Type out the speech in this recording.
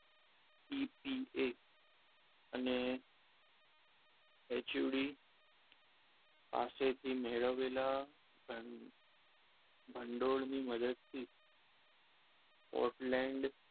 E T A અને H O D પાસેથી મેળવેલા ભંડોળ ની મદદથી પોર્ટલેન્ડ,